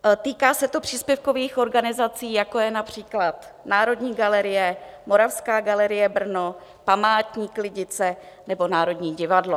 Týká se to příspěvkových organizací, jako je například Národní galerie, Moravská galerie Brno, Památník Lidice nebo Národní divadlo.